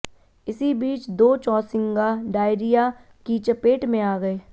इसी बीच दो चौसिंगा डायरिया की चपेट में आ गए